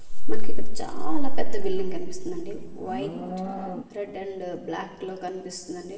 మనకిక్కడ చాలా పెద్ద బిల్డింగ్ కన్పిస్తుండండి వైట్ రెడ్ అండ్ బ్లాక్ లో కన్పిస్తుండండి.